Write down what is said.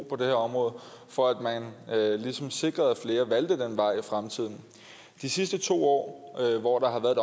det her område for at man ligesom sikrede at flere valgte den vej i fremtiden de sidste to år hvor der har været